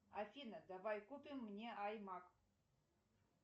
афина давай купим мне аймак